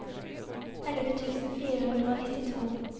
elleve tusen fire hundre og nittito